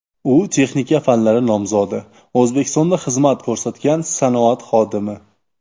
U texnika fanlari nomzodi, O‘zbekistonda xizmat ko‘rsatgan sanoat xodimi .